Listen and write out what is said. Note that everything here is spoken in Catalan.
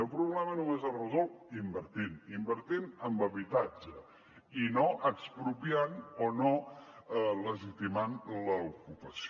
i el problema només es resol invertint invertint en habitatge i no expropiant o no legitimant l’ocupació